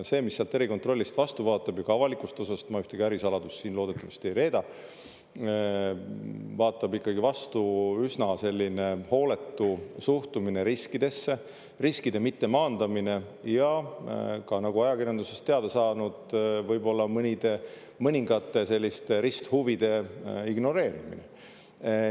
See, mis sealt erikontrollist vastu vaatab, ja ka avalikust osast – ma ühtegi ärisaladust siin loodetavasti ei reeda –, on üsna hooletu suhtumine riskidesse, riskide mittemaandamine, ja nagu ajakirjandusest oleme teada saanud, võib-olla mõningate risthuvide ignoreerimine.